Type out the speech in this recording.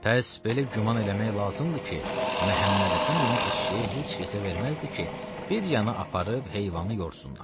Pəs belə güman eləmək lazımdır ki, Məhəmməd Həsən əmi eşşəyi heç kəsə verməzdi ki, bir yana aparıb heyvanı yorsunlar.